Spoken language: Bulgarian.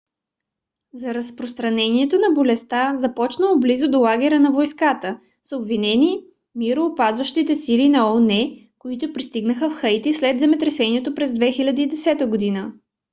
за разпространението на болестта започнало близо до лагера на войската са обвинени мироопазващите сили на оон които пристигнаха в хаити след земетресението през 2010 г